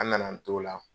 An nana an t'o la